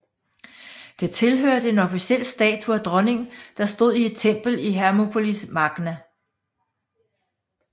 Det tilhørte en officiel statue af dronningen der stod i et tempel i Hermoupolis Magna